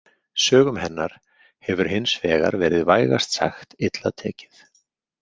Sögum hennar hefur hins vegar verið vægast sagt illa tekið.